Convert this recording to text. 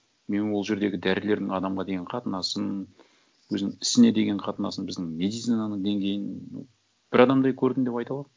мен ол жердегі дәрігердің адамға деген қатынасын өзінің ісіне деген қатынасын біздің медицинаның деңгейін бір адамдай көрдім деп айта аламын